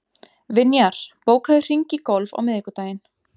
Vinjar, bókaðu hring í golf á miðvikudaginn.